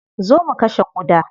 Zo mu kashe ƙuda.